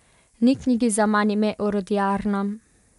Ni knjigi zaman ime Orodjarna ...